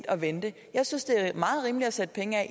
at vente jeg synes det er meget rimeligt at sætte penge af